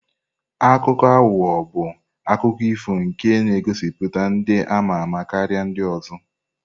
Akuko ahugho bụ akụkọ ifo nke na-egosipụta ndị ama-ama karịa ndị ọzọ.